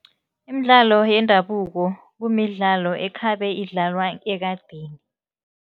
Imidlalo yendabuko kumidlalo ekhabe idlalwa ekadeni.